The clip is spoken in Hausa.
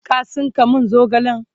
ka tsinka min zogalen!